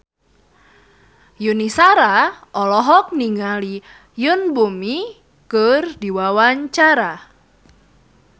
Yuni Shara olohok ningali Yoon Bomi keur diwawancara